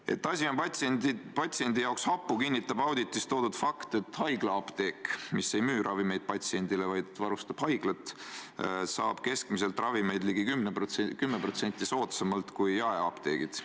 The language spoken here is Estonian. Et asi on patsiendi seisukohast hapu, kinnitab auditis toodud fakt, et haiglaapteek, mis ei müü ravimeid patsiendile, vaid varustab haiglat, saab ravimeid keskmiselt ligi 10% soodsamalt kui jaeapteegid.